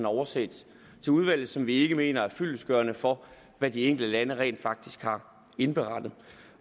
oversendt til udvalget som vi ikke mener er fyldestgørende for hvad de enkelte lande rent faktisk har indberettet